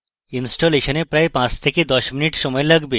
ইনস্টলেশনে প্রায় 5 থেকে 10 minutes সময় লাগবে